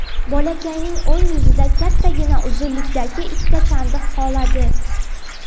Bolakayning o‘ng yuzida kattagina uzunlikdagi ikkita chandiq qoladi.